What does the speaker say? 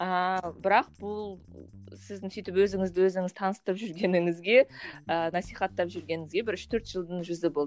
ал бірақ бұл сіздің сөйтіп өзіңізді өзіңіз таныстырып жүргеніңізге ы насихаттап жүргеніңізге бір үш төрт жылдың жүзі болды